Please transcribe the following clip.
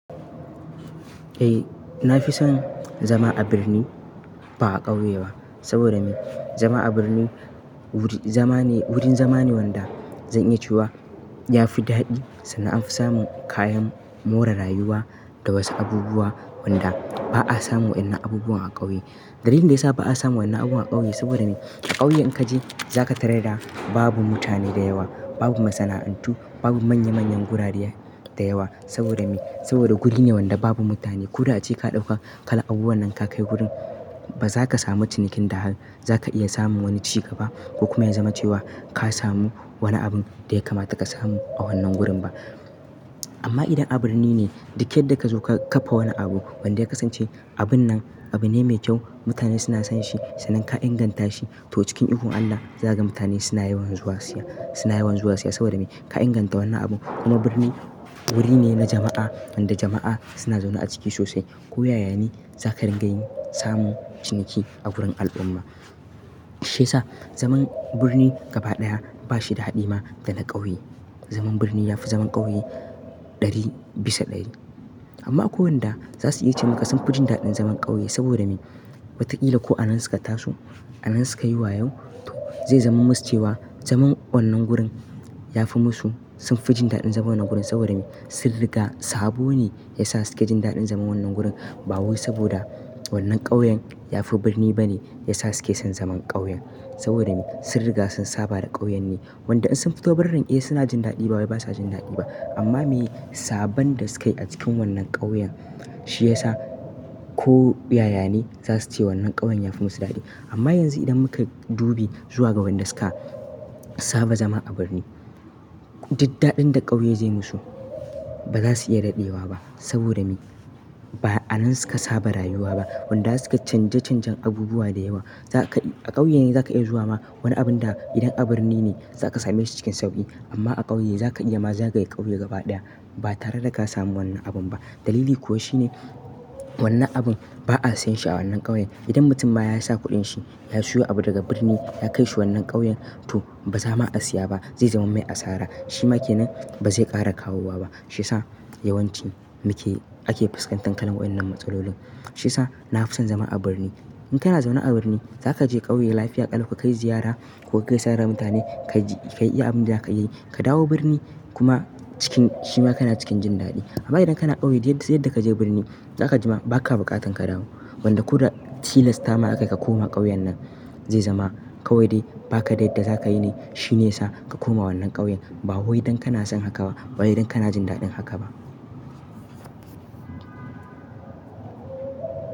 Eh, na fi son zama a birni ba a ƙauye ba. Saboda me? Zama a birni wuri- zaman ne- wurin zama ne wanda zan iya cewa ya fi daɗi, sannan anfi samun kayan more rayuwa da wasu abubuwa wanda ba a samu wannan abubuwan a ƙauye. Dalilin da ya sa ba a samu wannan abubuwan a ƙauye, saboda me? A ƙauye in ka je za ka tarar da babu mutane da yawa, babu masana'antu, babu manya manyan gurare da yawa. Saboda me? Saboda guri ne wanda babu mutane. Ko da ace ka ɗauka kayan abubuwan nan ka kai gurin, ba za ka samu cinikin da har, za ka iya samun wani ci gaba ko kuma ya zama cewa ka samu wana abun da ya kamata ka samu a wannan gurin ba. Amma idan a birni ne, duk yadda ka zo ka-kafa wani abu wanda ya kasance abun nan abune mai kyau, mutane suna son shi sannan ka inganta shi, to cikin ikon Allah za ka ga mutane suna yawan zuwa siya, suna yawan zuwa siya. Saboda me? Ka inganta wannan abun. Kuma birni wuri ne na jama'a wanda jama'a suna zaune a ciki sosai. Ko yaya ne za ka ringa yin samun ciniki a gurin al'umma. Shi yasa zaman birni gaba ɗaya ba shi da haɗi ma da na ƙauye. Zaman birni ya fi zaman ƙauye ɗari bisa ɗari. Amma akwai wanda za su iya ce maka sun fi jin daɗin zaman ƙauye. Saboda me? Watakila ko anan suka taso, anan suka yi wayo, to zai zama musu cewa zaman wannan gurin ya fi musu, sun fi jin daɗin zaman wannan gurin. Saboda me? Sun riga sabo ne ya sa su ke jin daɗin zaman wannan gurin ba wai saboda wannan ƙauyen ya fi birni bane ya sa su ke son zaman ƙauyen. Saboda me? Sun riga sun saba da ƙauyen ne wanda in sun fito birnin, eh suna jin daɗi ba wai ba sa jin daɗi ba. Amma me? Sabon da su kai a cikin wannan ƙauyen, shi ya sa ko yaya ne za su ce wannan ƙauyen ya fi musu daɗi. Amma yanzu idan muka dubi zuwa ga wanda suka saba zama a birni, duk daɗin da ƙauye zai musu ba za su iya daɗewa ba. Saboda me? Ba anan suka saba rayuwa ba wanda suka canja canjan abubuwa da yawa. Za ka- a ƙauye ne za ka iya zuwa ma wani abun da idan a birni ne za ka same shi cikin sauƙi. Amma a ƙauye za ka iya ma zagaye ƙauye gaba ɗaya ba tare da ka samu wannan abun ba. Dalili kuwa shine wannan abun ba a sayen shi a wannan ƙauyen. Idan mutum ba ya sa kuɗin shi ya siyo abu daga birni ya kai shi wannan ƙauyen, to ba zama a siya ba. Zai zama mai asara. Shi ma ke nan ba zai ƙara kawowa ba. Shi sa yawanci muke ake fuskantar kalan waɗannan matsalolin. Shi yasa na fi son zama a birni. In kana zaune a birni, za ka je ƙauye lafiya ƙalau ka kai ziyara ku ga gaisa da mutane. Ka ji- ka yi abin da ka yi, ka dawo birni kuma cikin- shi ma kana cikin jin daɗi. Amma idan kana ƙauye, duk yadda- yadda ka je birni, za ka ji ma ba ka buƙatan ka dawo. Wanda ko da tilasta ma aka ka koma ƙauyen nan, zai zama kawai dai ba ka dai da za ka yi ne. Shi ne ya sa ka koma wannan ƙauyen ba wai don kana son haka ba, ba wai don kana jin daɗin haka ba.